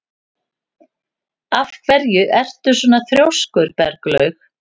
Af hverju ertu svona þrjóskur, Berglaug?